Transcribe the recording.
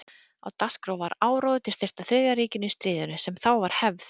Á dagskrá var áróður til styrktar Þriðja ríkinu í stríðinu, sem þá var hafið.